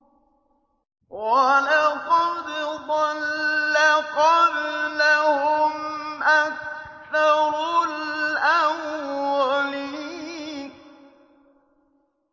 وَلَقَدْ ضَلَّ قَبْلَهُمْ أَكْثَرُ الْأَوَّلِينَ